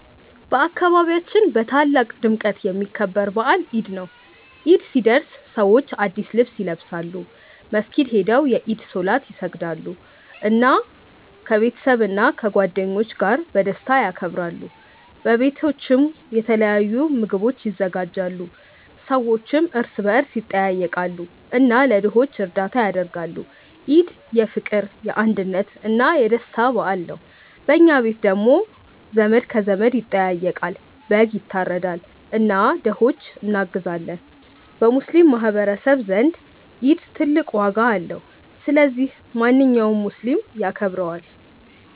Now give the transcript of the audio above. በአካባቢያችን በታላቅ ድምቀት የሚከበር በዓል ኢድ ነው። ኢድ ሲደርስ ሰዎች አዲስ ልብስ ይለብሳሉ፣ መስጊድ ሄደው የኢድ ሶላት ይሰግዳሉ፣ እና ከቤተሰብና ከጓደኞች ጋር በደስታ ያከብራሉ። በቤቶችም የተለያዩ ምግቦች ይዘጋጃሉ፣ ሰዎችም እርስ በርስ ይጠያየቃሉ እና ለድሆች እርዳታ ያደርጋሉ። ኢድ የፍቅር፣ የአንድነት እና የደስታ በዓል ነው። በኛ ቤት ደግሞ ዘመድ ከዘመድ ይጠያየቃል፣ በግ ይታረዳል እና ለድሆች እናግዛለን። በሙስሊሞች ማህቀረሰብ ዘንድ ኢድ ትልቅ ዋጋ አለው። ስለዚህ ማንኛውም ሙስሊም ያከብረዋል።